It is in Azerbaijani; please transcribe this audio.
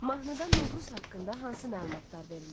Mahnıda Novruz haqqında hansı məlumatlar verilir?